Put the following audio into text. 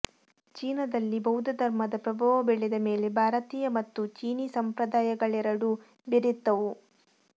ಚೀನದಲ್ಲಿ ಬೌದ್ಧಧರ್ಮದ ಪ್ರಭಾವ ಬೆಳೆದ ಮೇಲೆ ಭಾರತೀಯ ಮತ್ತು ಚೀನೀ ಸಂಪ್ರದಾಯಗಳೆರಡೂ ಬೆರೆತುವು